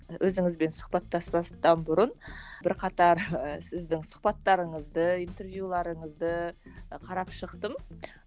өзіңізбен сұхбаттаспастан бұрын бірқатар і сіздің сұхбаттарыңызды интервьюлеріңізді і қарап шықтым